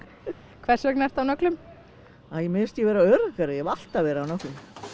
hvers vegna ertu á nöglum æ mér finnst ég vera öruggari ég hef alltaf verið á nöglum